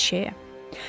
Hər şeyə.